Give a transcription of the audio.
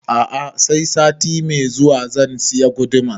A'a sai sati mai zuwa zan saya gudumar